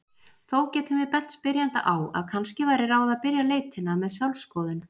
Þó getum við bent spyrjanda á að kannski væri ráð að byrja leitina með sjálfsskoðun.